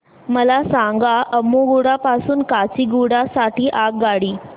मला सांगा अम्मुगुडा पासून काचीगुडा साठी आगगाडी